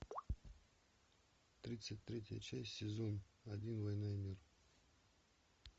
тридцать третья часть сезон один война и мир